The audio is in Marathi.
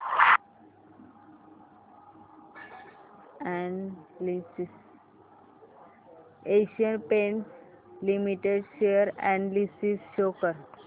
Asian Paints Limited share analysis show कर